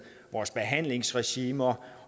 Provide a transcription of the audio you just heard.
vores behandlingsregimer